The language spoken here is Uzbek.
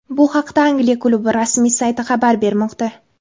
Bu haqda Angliya klubi rasmiy sayti xabar bermoqda.